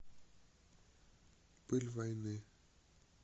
пыль войны